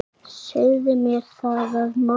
Segðu mér það að morgni.